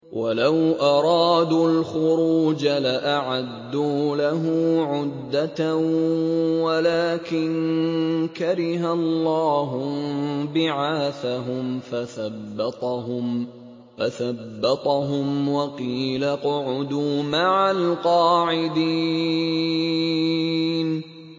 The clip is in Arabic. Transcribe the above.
۞ وَلَوْ أَرَادُوا الْخُرُوجَ لَأَعَدُّوا لَهُ عُدَّةً وَلَٰكِن كَرِهَ اللَّهُ انبِعَاثَهُمْ فَثَبَّطَهُمْ وَقِيلَ اقْعُدُوا مَعَ الْقَاعِدِينَ